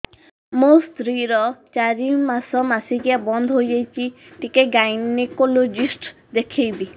ମୋ ସ୍ତ୍ରୀ ର ଚାରି ମାସ ମାସିକିଆ ବନ୍ଦ ହେଇଛି ଟିକେ ଗାଇନେକୋଲୋଜିଷ୍ଟ ଦେଖେଇବି